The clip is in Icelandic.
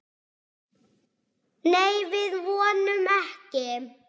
Nei, við vonum ekki.